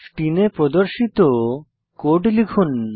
স্ক্রিনে প্রদর্শিত কোড লিখুন